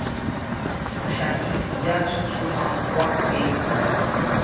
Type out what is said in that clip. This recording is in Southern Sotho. mohlahisi ya thuthuhang wa grain